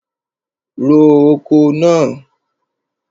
Ro oko náà!